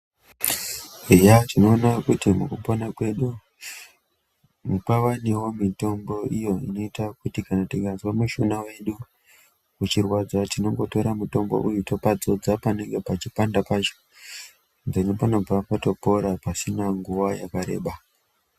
Eya tinoona kuti mukupona kwedu pavanewo mitombo iyo inoita kuti kana tikazwa mishuna yedu uchirwadza tinongotora mutombo wacho toudzodza panenge peipanda pacho dheni pasina nguwa panenge patopora.